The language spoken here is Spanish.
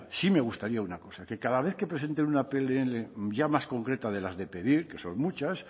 sí me gustaría una cosa que cada vez que presenten una pnl ya más concreta de las de pedir que son muchas